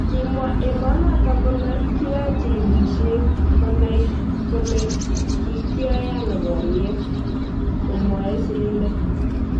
Kimwa emonotok kole kiyoe chigilishet konai kole kikyoe ano boriet "komwoe sirindet.